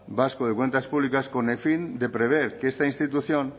vasco de cuentas públicas con el fin de prever que esta institución